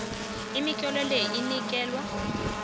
imitlolo le inikelwa